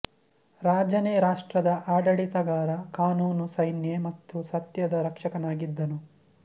ರಾಜನೇ ರಾಷ್ಟ್ರದ ಆಡಳಿತಗಾರ ಕಾನೂನು ಸೈನ್ಯ ಮತ್ತು ಸತ್ಯದ ರಕ್ಷಕನಾಗಿದ್ದನು